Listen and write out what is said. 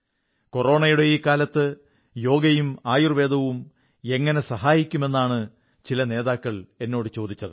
കൊറോണയുടെ ഈ കാലത്ത് യോഗയും ആയുർവ്വേദവും എങ്ങനെ സഹായിക്കും എന്നാണ് ചില നേതാക്കൾ എന്നോടു ചോദിച്ചത്